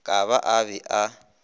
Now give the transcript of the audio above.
ka ba a be a